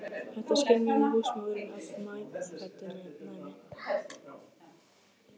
Þetta skynjaði húsmóðirin af meðfæddu næmi.